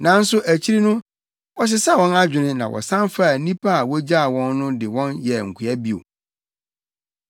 Nanso akyiri no, wɔsesaa wɔn adwene na wɔsan faa nnipa a wogyaa wɔn no de wɔn yɛɛ nkoa bio.